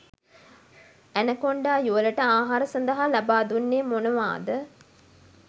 Anaconda යුවලට ආහාර සඳහා ලබාදුන්නේ මොනවාද?